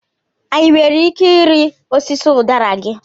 Anyị nwere ike ịrị osisi udara gị?